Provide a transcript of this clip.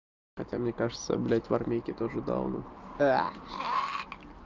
хотя мне кажется блядь в армейке тоже дауны